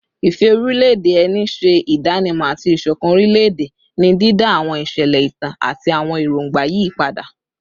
Ìfẹ́ orílẹ̀-èdè ẹni ṣe ìdánimọ̀ àti ìṣọ̀kan orílẹ̀-èdè, ní dídá àwọn ìṣẹ̀lẹ̀ ìtàn àti àwọn èròǹgbà yí padà